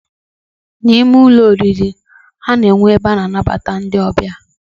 Na ime Ụlọ oriri, ana enwe ebe ana anabata ndi ọbịa